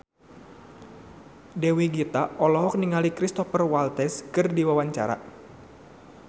Dewi Gita olohok ningali Cristhoper Waltz keur diwawancara